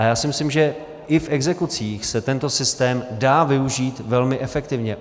A já si myslím, že i v exekucích se tento systém dá využít velmi efektivně.